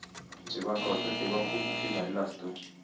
जेव्हा कळतं तेव्हा खूप उशीर झालेला असतो.